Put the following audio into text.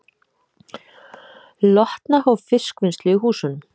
Lotna hóf fiskvinnslu í húsunum